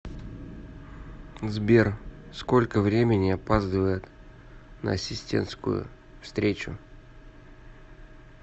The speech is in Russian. сбер сколько времени опаздывает на ассистентскую встречу